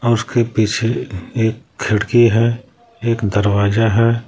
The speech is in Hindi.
उसके पीछे एक खिड़की है एक दरवाजा है।